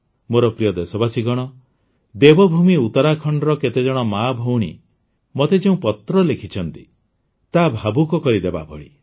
ମୋର ପ୍ରିୟ ଦେଶବାସୀଗଣ ଦେବଭୂମି ଉତ୍ତରାଖଣ୍ଡର କେତେଜଣ ମାଆଭଉଣୀ ମୋତେ ଯେଉଁ ପତ୍ର ଲେଖିଛନ୍ତି ତାହା ଭାବୁକ କରିଦେବା ଭଳି